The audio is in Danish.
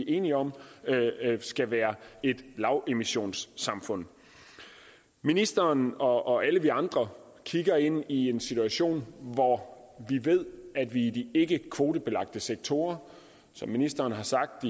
enige om skal være et lavemissionssamfund ministeren og alle vi andre kigger ind i en situation hvor vi ved at i de ikkekvotebelagte sektorer som ministeren har sagt